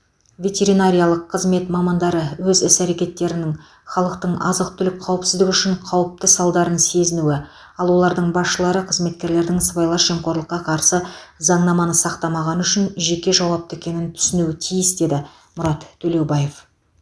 ветеринариялық қызмет мамандары өз іс әрекетінің халықтың азық түлік қауіпсіздігі үшін қауіпті салдарын сезінуі ал олардың басшылары қызметкерлердің сыбайлас жемқорлыққа қарсы заңнаманы сақтамағаны үшін жеке жауапты екенін түсінуі тиіс деді мұрат төлеубаев